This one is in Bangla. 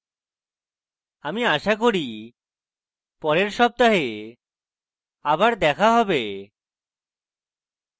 আমি আশা করি পরের সপ্তাহে আবার দেখা হবে